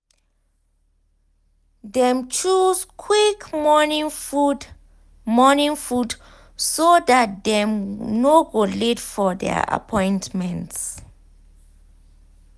dem choose quick morning food morning food so that dem no go late for their appointments.